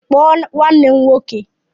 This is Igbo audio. Kpọọ nwanne m nwoke